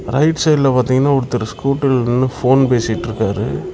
Right சைடுல பார்த்தீங்ன்னா ஒருத்தர் ஸ்கூட்டர்ல நின்னு போன் பேசிட்ருக்காரு.